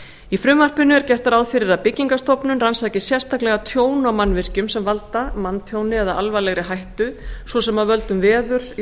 í frumvarpinu er gert ráð fyrir að byggingarstofnun rannsaki sérstaklega tjón á mannvirkjum sem valda manntjóni eða alvarlegri hættu svo sem af völdum veður